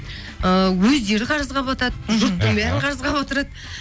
ыыы өздері қарызға батады мхм жұрттың бәрін қарызға батырады